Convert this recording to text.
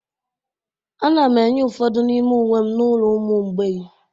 Ana m enye ụfọdụ n'ime uwe m n'ụlọ ụmụ mgbei